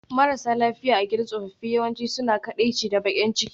Marasa lafiya a gidan tsofaffi yawanci suna kaɗaici da baƙin ciki